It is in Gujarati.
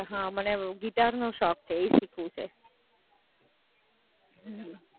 પણ હાં, મને ગિટાર નો શોખ છે, એ શીખવું છે.